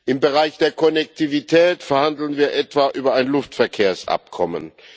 Im Bereich der Konnektivität verhandeln wir etwa über ein Luftverkehrsabkommen.